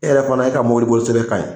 E yɛrɛ fana e ka mobiliboli sɛbɛn ka ɲi.